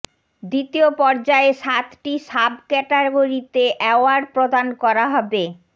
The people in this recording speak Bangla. দ্বিতীয় পর্যায়ে সাতটি সাব ক্যাটাগরিতে অ্যাওয়ার্ড প্রদান করা হবে